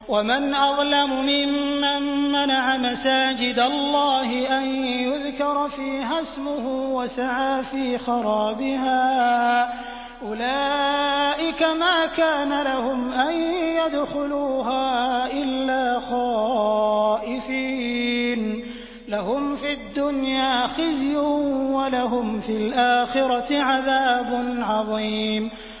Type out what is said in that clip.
وَمَنْ أَظْلَمُ مِمَّن مَّنَعَ مَسَاجِدَ اللَّهِ أَن يُذْكَرَ فِيهَا اسْمُهُ وَسَعَىٰ فِي خَرَابِهَا ۚ أُولَٰئِكَ مَا كَانَ لَهُمْ أَن يَدْخُلُوهَا إِلَّا خَائِفِينَ ۚ لَهُمْ فِي الدُّنْيَا خِزْيٌ وَلَهُمْ فِي الْآخِرَةِ عَذَابٌ عَظِيمٌ